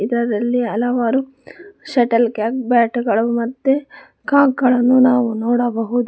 ಚಿತ್ರದಲ್ಲಿ ಹಲವಾರು shuttlecock ಬ್ಯಾಟುಗಳು ಮತ್ತೆ ಕಾಕ್ಗಳನ್ನು ನಾವು ನೋಡಬಹುದು.